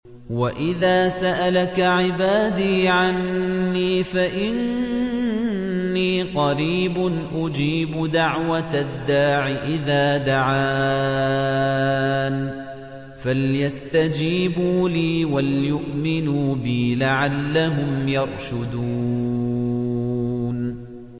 وَإِذَا سَأَلَكَ عِبَادِي عَنِّي فَإِنِّي قَرِيبٌ ۖ أُجِيبُ دَعْوَةَ الدَّاعِ إِذَا دَعَانِ ۖ فَلْيَسْتَجِيبُوا لِي وَلْيُؤْمِنُوا بِي لَعَلَّهُمْ يَرْشُدُونَ